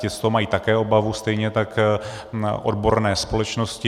Ti z toho mají také obavu, stejně tak odborné společnosti.